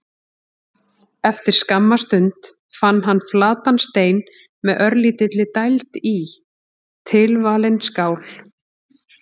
Eftir skamma stund fann hann flatan stein með örlítilli dæld í: tilvalin skál.